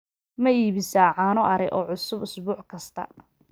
ma iibisaa caano ari oo cusub isbuuc kasta